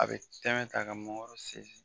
A bɛ tɛmɛ ka ka mɔgɔ sen.